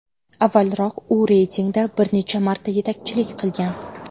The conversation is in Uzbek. Avvalroq u reytingda bir necha marta yetakchilik qilgan.